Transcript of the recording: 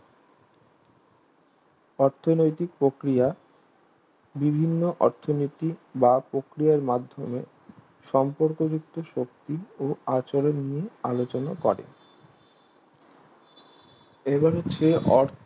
অর্থনৈতিক প্রক্রিয়া বিভিন্ন অর্থনৈতিক বা প্রক্রিয়ার মাধ্যমে সম্পর্কযুক্ত শক্তি ও আচরণীয় আলোচনা করে এবার হচ্ছে